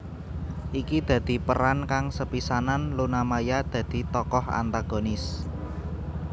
Iki dadi peran kang sepisanan Luna Maya dadi tokoh antagonis